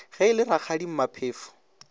ge e le rakgadi maphefo